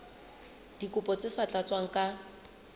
dikopo tse sa tlatswang ka